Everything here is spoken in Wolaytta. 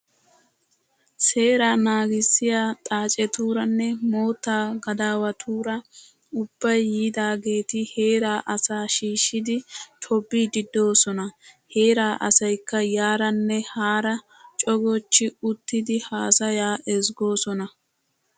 Seeraa nagissiyaa xaacetuuranne moottaa gadaawatuura ubbayi yiidaageeti heeraa asaa shiishshidi tobbiddi doosona. Heeraa asayikka yaaranne haara cogochchi uttidi haasayaa ezggoosona.